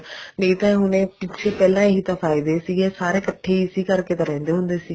ਨਹੀਂ ਤਾਂ ਹੁਣ ਪਿੱਛੇ ਪਹਿਲਾਂ ਇਹੀ ਤਾਂ ਫਾਇਦੇ ਸੀਗੇ ਸਾਰੇ ਇੱਕਠੇ ਇਸੇ ਕਰਕੇ ਤਾਂ ਰਹਿੰਦੇ ਹੁੰਦੇ ਸੀ